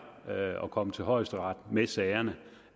at komme til højesteret med sagerne